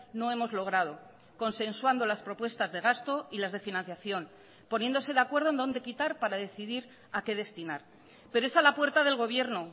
no hemos logrado consensuando las propuestas de gasto y las de financiación poniéndose de acuerdo en dónde quitar para decidir a qué destinar pero es a la puerta del gobierno